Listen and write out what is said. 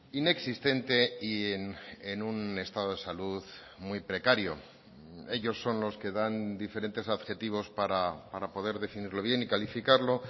inexistente y en un estado de salud muy precario ellos son los que dan diferentes adjetivos para poder definirlo bien y calificarlo